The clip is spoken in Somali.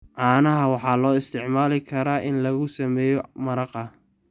Caanaha waxaa loo isticmaali karaa in lagu sameeyo maraqa.